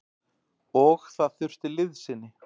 Og það þurfti liðsinni.